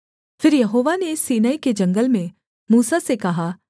फिर यहोवा ने सीनै के जंगल में मूसा से कहा